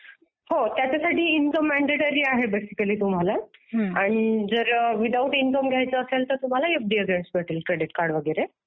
हो त्याच्यासाठी income mandatory आहे बेसिकली तुम्हाला. आणि जर विदऊट इनकम घ्यायचं असेल तर तुम्हाला मिळेल क्रेडिट कार्ड वगैरे.